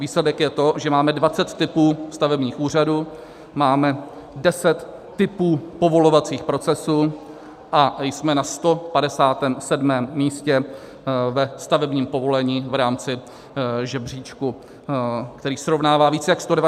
Výsledek je to, že máme 20 typů stavebních úřadů, máme 10 typů povolovacích procesů a jsme na 157. místě ve stavebním povolení v rámci řebříčku, který srovnává více jak 190 zemí světa.